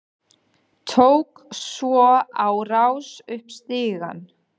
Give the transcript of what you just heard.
Tók svo á rás upp stigann.